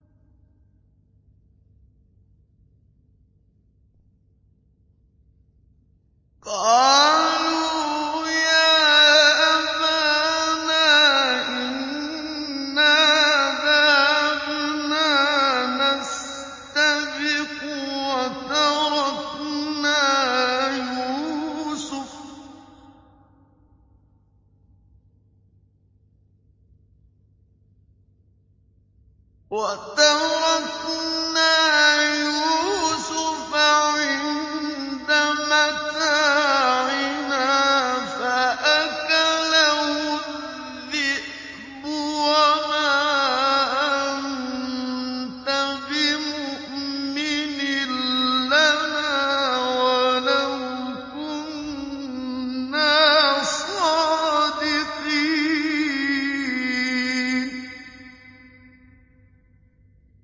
قَالُوا يَا أَبَانَا إِنَّا ذَهَبْنَا نَسْتَبِقُ وَتَرَكْنَا يُوسُفَ عِندَ مَتَاعِنَا فَأَكَلَهُ الذِّئْبُ ۖ وَمَا أَنتَ بِمُؤْمِنٍ لَّنَا وَلَوْ كُنَّا صَادِقِينَ